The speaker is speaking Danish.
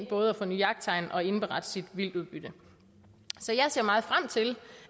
både at forny jagttegn og indberette sit vildtudbytte så jeg ser meget frem til